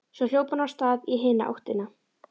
Svo hljóp hann af stað í hina áttina.